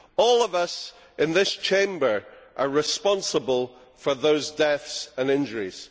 All of us in this Chamber are responsible for those deaths and injuries.